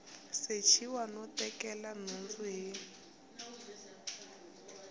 sechiwa no tekela nhundzu hi